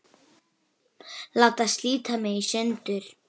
Þar kom fleira til.